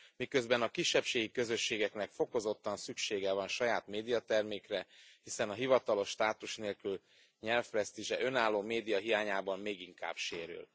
Miközben a kisebbségi közösségeknek fokozottan szüksége van saját médiatermékre, hiszen a hivatalos státus nélküli nyelv presztízse önálló média hiányában még inkább sérül.